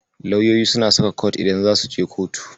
Lauyoyi suna saka kot idan zasu je kotu.